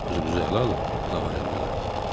Özünüzü əla alın, Laven dilləndi.